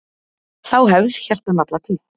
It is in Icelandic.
Þá hefð hélt hann alla tíð.